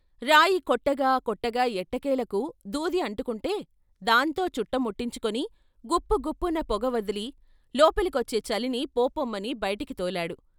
రాయి కొట్టగా కొట్టగా ఎట్టకేలకు దూది అంటుకుంటే దాంతో చుట్ట ముట్టించుకొని గుప్పు గుప్పున పొగ వదిలి లోపలికొచ్చే చలిని "పో పొమ్మని" బైటికి తోలాడు.